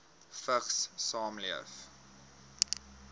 vigs saamleef